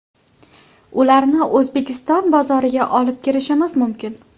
Ularni O‘zbekiston bozoriga olib kirishimiz mumkin.